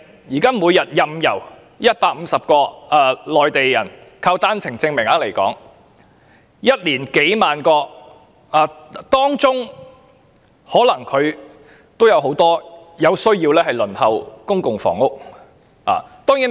現時，每天有150名內地人持單程證來港，一年便有數萬人，當中必然包含有需要輪候公屋的人士。